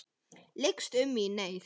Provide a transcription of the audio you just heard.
Lykst um mig í neyð.